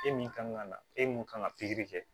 E min kan ka na e mun kan ka pikiri kɛ